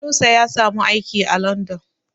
Inusa ya samu aiki a London